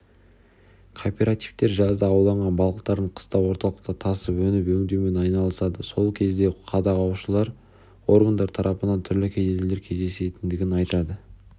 кооперативтер жазда ауланған балықтарын қыста орталыққа тасып өнім өңдеумен айналысады сол кезде қадағалаушы органдар тарапынан түрлі кедергілер кездесетіндігін айтады